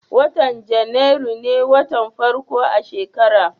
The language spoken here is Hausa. watan januari me watan farko a shekara